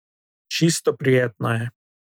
Čisto prijetna je.